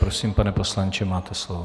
Prosím, pane poslanče, máte slovo.